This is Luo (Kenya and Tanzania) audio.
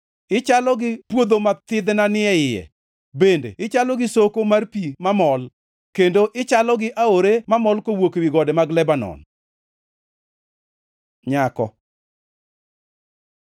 Ichalo gi puodho ma thidhna ni e iye, bende ichalo gi soko mar pi mamol, kendo ichalo gi aore mamol kawuok ewi gode mag Lebanon. Nyako